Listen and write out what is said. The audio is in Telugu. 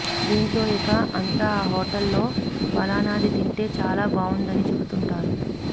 దీంతో ఇక అంతా ఆ హోటల్ లో పలానాది తింటే చాలా బావుందని చెబుతుంటారు